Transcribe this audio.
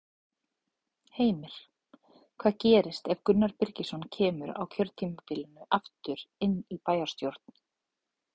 Heimir: Hvað gerist ef að Gunnar Birgisson kemur á kjörtímabilinu aftur inn í bæjarstjórn?